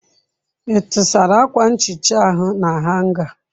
Ị tụsara akwa nhicha ahụ na hanga?